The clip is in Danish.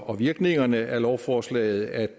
og virkningerne af lovforslaget at